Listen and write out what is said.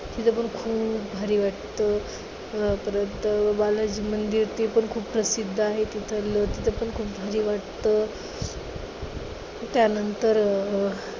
तिथं पण खूप भारी वाटते. परत बालाजी मंदिर ते पण खूप प्रसिद्ध आहे तिथं पण खूप भारी वाटतं. त्यानंतर अं